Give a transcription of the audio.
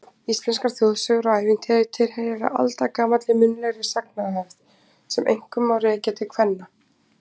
Íslenskar þjóðsögur og ævintýri tilheyra aldagamalli munnlegri sagnahefð sem einkum má rekja til kvenna.